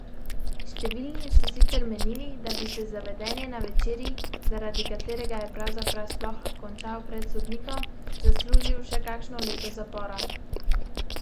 Številni so sicer menili, da bi si za vedenje na večerji, zaradi katerega je pravzaprav sploh končal pred sodnikom, zaslužil še kakšno leto zapora.